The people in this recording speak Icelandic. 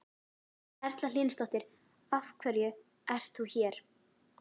Erla Hlynsdóttir: Af hverju ert þú hér?